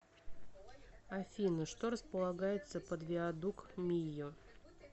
афина что располагается под виадук мийо